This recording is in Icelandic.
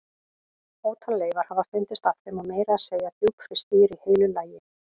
Ótal leifar hafa fundist af þeim og meira að segja djúpfryst dýr í heilu lagi.